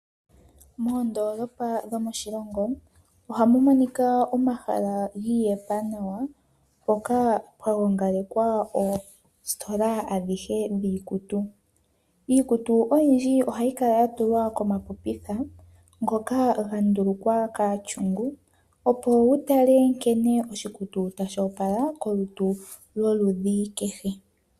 Moondoolopa dhomoshilongo, ohamu monika omahala giiyetha nawa, mpoka pwa gongalekwa oositola dhiikutu. Iikutu oyindji ohayi kala ya tulwa komapopitha ngoka ga ndulukwa kaatyungu, opo wu tale nkene oshikutu tashi opala kolutu lwoludhi kehe.